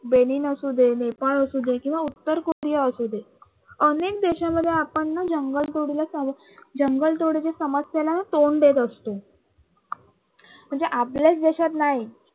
असू दे नेपाळ असू दे किंवा उत्तर कोरिया असू दे अनेक देशामध्ये आपण न जंगल तोडीला जंगल तोडीच्या समस्येला तोंड देत असतो, म्हणजे आपल्याच देशात नाही